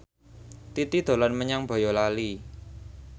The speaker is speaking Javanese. Titi dolan menyang Boyolali